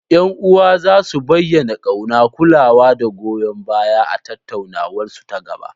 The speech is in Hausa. Yan uwa za su bayyana kauna, kulawa, da goyon baya a tattaunawarsu ta gaba.